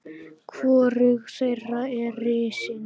Hvorug þeirra er risin.